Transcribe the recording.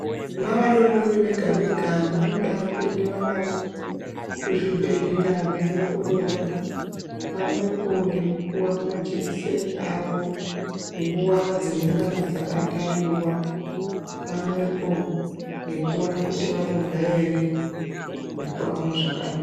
Navadodori vega vega vanoda kuendiwa navo kuzvibhedhlera veiongororwa pamwepo nekupuwa majekiseni awo nguwa dzinengana dzaka tariwa pamwepo nekuona kuti vanorya ere nekuyamwa zvakanaka.